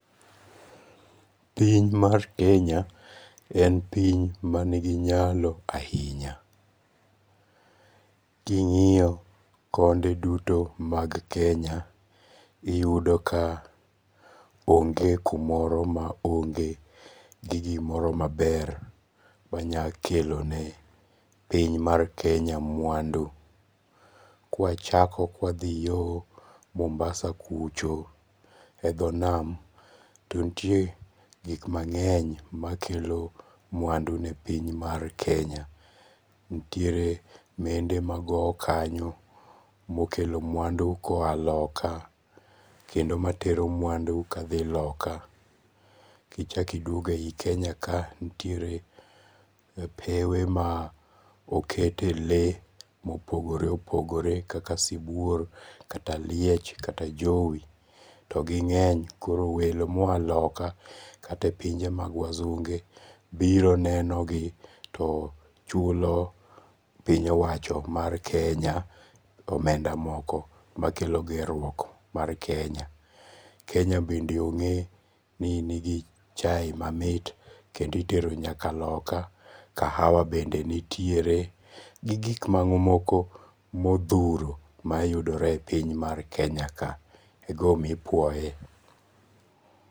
Piny mar Kenya en piny manigi nyalo ahinya, kingi'yo konde duto mag Kenya, iyudo ka onge kumoro ma onge gi gimoro maber manyalo kelone piny mar Kenya mwandu, kwachako ka wathi yo Mombasa kucho e dho nam to nitie gik mange'ny makelo mwandune e piny mar Kenya, nitie mende magowo kanyo mokelo mwandu koya loka, kendo matero mwandu kathi loka, kichako iduogo e yi Kenya ka nitiere pewe ma okete le mopogore opogore kaka sibuor kata liech kata jowi, to ginge'ny koro welo moya loka kata e pinje mag wasunge' biro nenogi to chulo piny owacho mar Kenya omenda moko makelo gerruok mar Kenya, Kenya bende onge' gi chaye mamit kendo itero nyaka loka, kahawa bende nitiere gi gik mamoko ma othuro mayudore e piny mar Kenya ka igima omiyo ipwoye.